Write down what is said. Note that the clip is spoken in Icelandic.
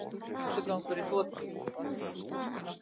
Rottugangur í þotu